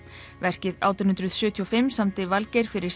verkið átján hundruð sjötíu og fimm samdi Valgeir fyrir